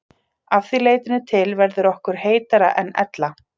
Að því leytinu til verður okkur heitara en ella.